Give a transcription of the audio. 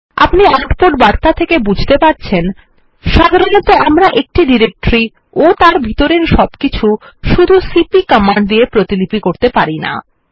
আপনি আউটপুট বার্তা থেকে বুঝতে পারছেন সাধারণত আমরা একটি ডিরেক্টরি ও তার ভিতরের সবকিছু শুধু সিপি কমান্ড দিয়ে প্রতিলিপি করতে পারি না